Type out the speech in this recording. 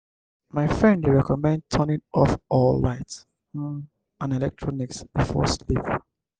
my friend dey recommend turning off all lights um and electronics before sleep.